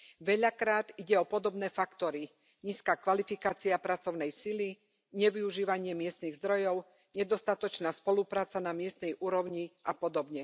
Veľakrát ide o podobné faktory nízka kvalifikácia pracovnej sily, nevyužívanie miestnych zdrojov, nedostatočná spolupráca na miestnej úrovni a pod.